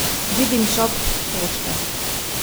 Vidim šop pošte.